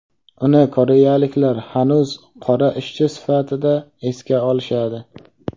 Uni koreyaliklar hanuz qora ishchi sifatida esga olishadi.